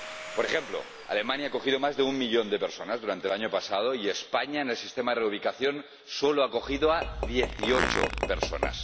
Por ejemplo, Alemania acogió a más de un millón de personas durante el año pasado y España, en el sistema reubicación, solo ha acogido a dieciocho personas.